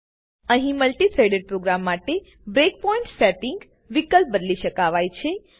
અહી multi threaded program માટે breakpoint setting વિકલ્પ બદલી શકાવાય છે